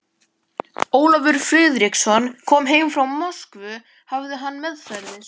Ólafur Friðriksson kom heim frá Moskvu hafði hann meðferðis